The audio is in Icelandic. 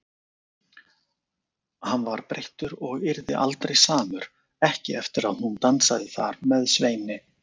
Hann var breyttur og yrði aldrei samur, ekki eftir að hún dansaði þar með Sveini.